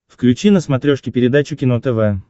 включи на смотрешке передачу кино тв